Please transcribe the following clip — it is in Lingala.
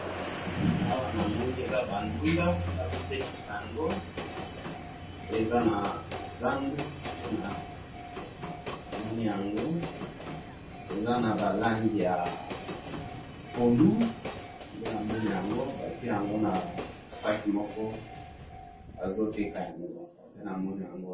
Awa namoni eza ba ndunda bazo tekisa yango, eza na zandu nde namoni yango, eza na ba langi ya pondu nde namoni yango, batie yango na saki moko bazo teka yango nde namoni yango wana